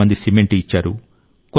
కొంతమంది సిమెంటు ఇచ్చారు